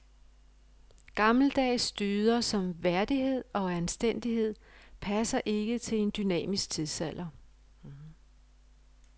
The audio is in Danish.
Gammeldags dyder som værdighed og anstændighed passer ikke til en dynamisk tidsalder.